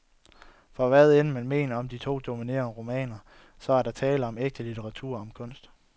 For hvad end, man mener om de to dominerende romaner, så er der tale om ægte litteratur, om kunst.